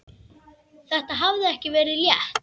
Þetta hafði ekki verið létt.